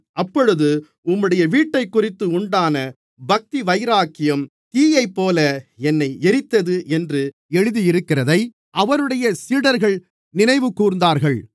அப்பொழுது உம்முடைய வீட்டைக்குறித்து உண்டான பக்தியின் வைராக்கியம் தீயைப்போல என்னை எரித்தது என்று எழுதியிருக்கிறதை அவருடைய சீடர்கள் நினைவுகூர்ந்தார்கள்